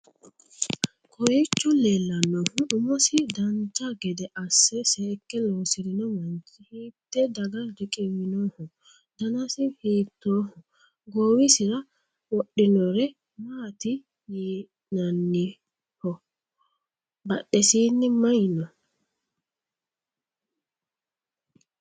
kowwicho leellannohu umosi dancha gede asse seekke lossirino manchi hiitte daga riqiwinoho? danasi hiittooho? goowisira wodhinore maati yianniho? badhesiinni mayi no?